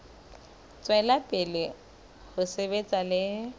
tswela pele ho sebetsa le